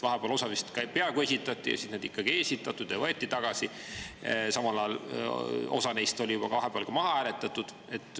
Osa vist vahepeal peaaegu esitati, siis neid ikkagi ei esitatud ja võeti tagasi, osa neist oli vahepeal ka juba maha hääletatud.